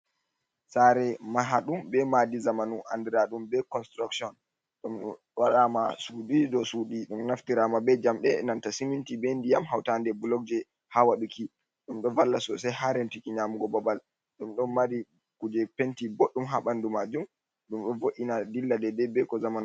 Tsare mahdum be madi zamanu, andiradum be construction, dum waɗama shuɗi dow shuɗi ɗum naftirama be jamde nanta siminti, ɓe diyam hauta nde bulog je ha wadduki ɗum ɗo valla sosai haren tuki nyamugo babal ɗum ɗon mari kuje penti boɗɗum ha ɓandu majum, ɗum ɗo vo’’ina dilla, dei dei be ko zamanuu.